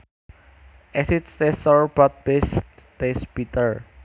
Acids taste sour but bases taste bitter